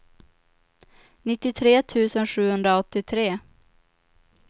nittiotre tusen sjuhundraåttiotre